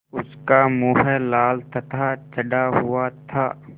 उसका मुँह लाल तथा चढ़ा हुआ था